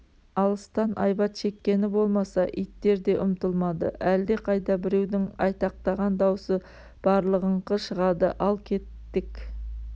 алыстан айбат шеккені болмаса иттер де ұмтылмады әлде қайда біреудің айтақтаған даусы барлығыңқы шығады ал кеттік